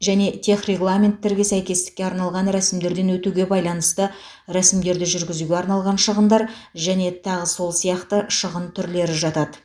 және техрегламенттерге сәйкестікке арналған рәсімдерден өтуге байланысты рәсімдерді жүргізуге арналған шығындар және тағы сол сияқты шығын түрлері жатады